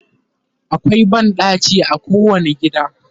akwai banɗaki a kowani gida